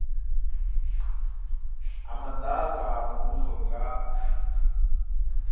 ha madaka a muvhuso nga